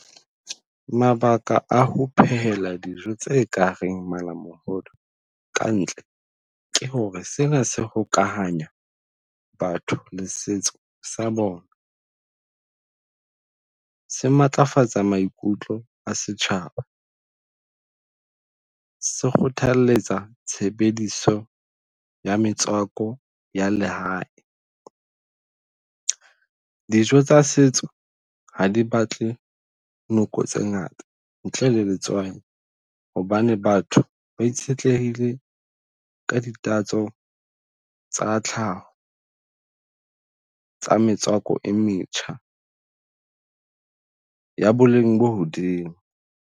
Mabaka a ho phehela dijo tse kareng malamohodu kantle ke hore sena se hokahanya batho le setso sa bona. Se matlafatsa maikutlo a setjhaba se kgothalletsa tshebediso ya metswako ya lehae. Dijo tsa setso ha di batle noko tse ngata ntle le letswai. Hobane batho ba itshetlehile ka ditatso tsa tlhaho tsa metswako e metjha, ya boleng bo hodimo.